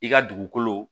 I ka dugukolo